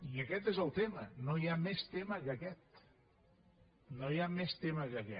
i aquest és el tema no hi ha més tema que aquest no hi ha més tema que aquest